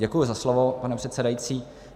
Děkuji za slovo, pane předsedající.